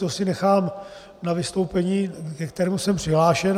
To si nechám na vystoupení, ke kterému jsem přihlášen.